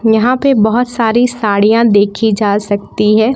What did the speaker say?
यहां पे बहुत सारी साड़ियां देखी जा सकती है।